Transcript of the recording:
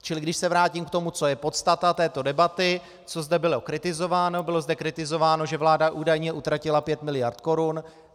Čili když se vrátím k tomu, co je podstata této debaty, co zde bylo kritizováno, bylo zde kritizováno, že vláda údajně utratila pět miliard korun.